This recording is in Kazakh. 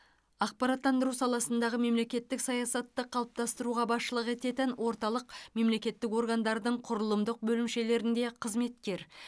ақпараттандыру саласындағы мемлекеттік саясатты қалыптастыруға басшылық ететін орталық мемлекеттік органдардың құрылымдық бөлімшелерінде қызметкер